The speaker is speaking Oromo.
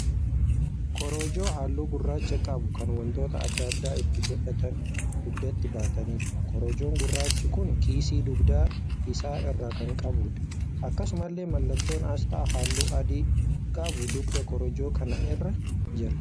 Korojoo halluu gurraacha qabu kan wantoota adda addaa itti godhatanii dugdatti baataniidha. Korojoon gurraachi kun kiisii dugda isaa irraa kan qabuudha. Akkasumallee mallattoon asxaa halluu adii qabu dugda korojoo kanaa irra jira.